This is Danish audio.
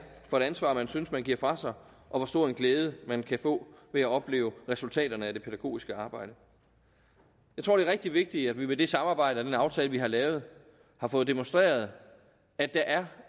for et ansvar man synes man giver fra sig og hvor stor en glæde man kan få ved at opleve resultaterne af det pædagogiske arbejde jeg tror det er rigtig vigtigt at vi med det samarbejde den aftale vi har lavet har fået demonstreret at der